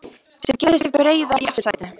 sem gerði sig breiða í aftursætinu.